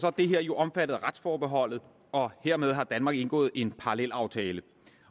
er det her jo omfattet af retsforbeholdet og hermed har danmark indgået en parallelaftale